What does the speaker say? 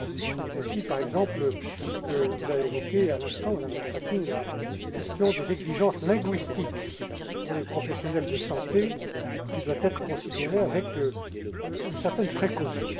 C'est ainsi, par exemple, que vous avez évoqué à l'instant, Madame McClarkin, la question des exigences linguistiques pour les professionnels de santé, qui doit être considérée avec une certaine précaution.